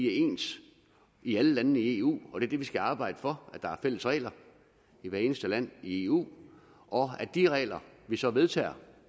er ens i alle landene i eu og det er det vi skal arbejde for at der er fælles regler i hvert eneste land i eu og at de regler vi så vedtager